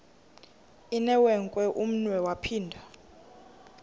inewenkwe umnwe yaphinda